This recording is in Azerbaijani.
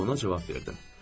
Ona cavab verdim.